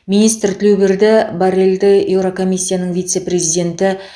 министр тілеуберді борреллді еурокомиссияның вице президенті